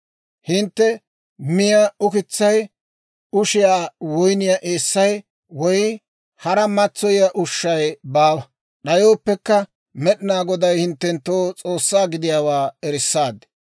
Hintte miyaa ukitsay, ushiyaa woyniyaa eessay, woy hara matsoyiyaa ushshay baawa; d'ayooppekka Med'inaa Goday hinttenttoo S'oossaa gidiyaawaa erissaad.